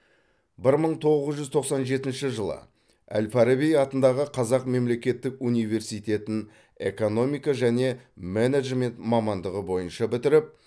бір мың тоғыз жүз тоқсан жетінші жылы әл фараби атындағы қазақ мемлекеттік университетін экономика және менеджмент мамандығы бойынша бітіріп